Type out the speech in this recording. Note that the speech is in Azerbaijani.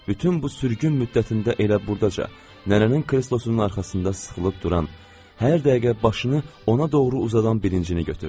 Bütün bu sürgün müddətində elə buradaca nənənin kreslosunun arxasında sıxılıb duran, hər dəqiqə başını ona doğru uzadan birincini götürdü.